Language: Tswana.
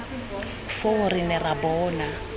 foo re ne ra bona